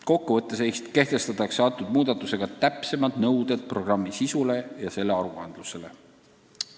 Kokku võttes kehtestatakse nende muudatustega täpsemad nõuded programmi sisu ja selle täitmise aruannete kohta.